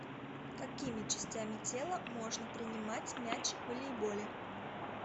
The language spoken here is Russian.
какими частями тела можно принимать мяч в волейболе